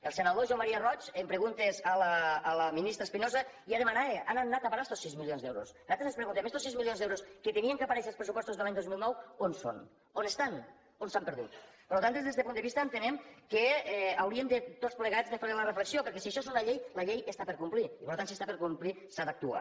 el senador joan maria roig en preguntes a la ministra espinosa ja demanava on han anat a parar estos sis milions d’euros nosaltres ens preguntem estos sis milions d’euros que havien d’aparèixer als pressupostos de l’any dos mil nou on són on estan on s’han perdut per tant des d’este punt de vista entenem que hauríem de tots plegats fer una reflexió perquè si això és una llei la llei està per complir i per tant si està per complir s’ha d’actuar